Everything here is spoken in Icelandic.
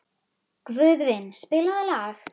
Guðvin, spilaðu lag.